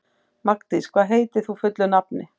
Magndís, hvað heitir þú fullu nafni?